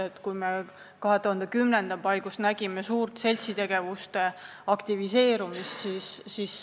Me nägime 2010. aasta paigus suurt seltsitegevuse aktiveerumist.